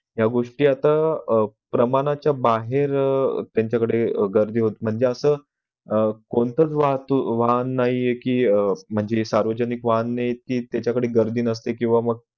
या गोष्टी आता अह प्रमाणाच्या बाहेर अ त्यांच्याकडे गर्दी होत म्हणजे असं अह कोणतं वाहतूक वाहन नाही आहे कि अ म्हणजे वाहने तीच त्याच्याकडे गर्दी नसते किंवा मग